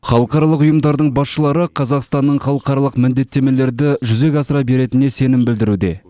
халықаралық ұйымдардың басшылары қазақстанның халықаралық міндеттемелерді жүзеге асыра беретініне сенім білдіруде